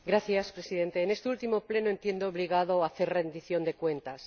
Señor Presidente, en este último Pleno entiendo obligado hacer rendición de cuentas.